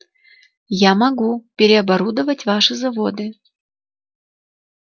я могу переоборудовать ваши заводы